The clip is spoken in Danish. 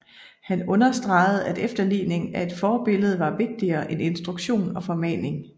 Han understregede at efterligning af et forbillede var vigtigere end instruktion og formaning